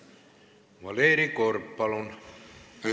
Valeri Korb, palun!